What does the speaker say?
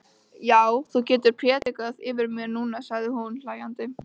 Já, þú getur prédikað yfir mér núna, sagði hún hlæjandi.